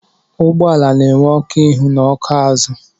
Ụgbọala na-enwe ọkụ ihu na ọkụ azụ.